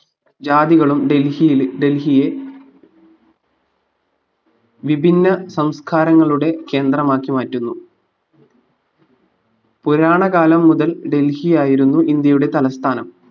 ജാതികളും ഡൽഹിയിൽ ഡൽഹിയെ വിഭിന്ന സംസ്കാരങ്ങളുടെ കേന്ദ്രമാക്കി മാറ്റുന്നു പുരാണകാലം മുതൽ ഡെൽഹിയായിരുന്നു ഇന്ത്യയുടെ തലസ്ഥാനം